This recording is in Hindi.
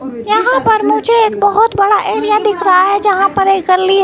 यहां पर मुझे एक बहोत बड़ा एरिया दिख रहा है जहां पर एक गली--